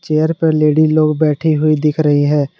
Chair पर lady लोग बैठी हुई दिख रही है।